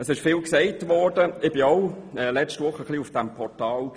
Ich war letzte Woche auch ein bisschen auf diesem Portal.